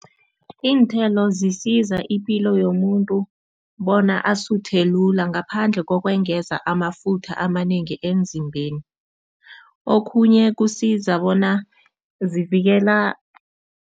Iinthelo zisiza ipilo yomuntu bona asuthe lula ngaphandle kokwengeza amafutha amanengi emzimbeni. Okhunye kusiza bona zivikela